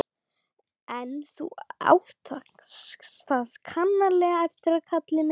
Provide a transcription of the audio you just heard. En þú átt það sannarlega eftir, kall minn.